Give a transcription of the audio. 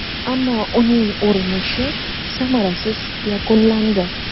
Ammo uning urinishi samarasiz yakunlandi.